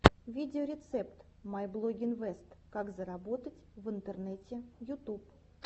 видеорецепт майблогинвест как заработать в интернете ютуб